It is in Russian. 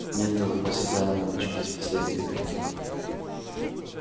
миртл восседала на бачке с последней кабинки